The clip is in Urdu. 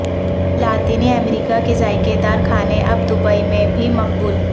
لاطینی امریکہ کے ذائقے دار کھانے اب دبئی میں بھی مقبول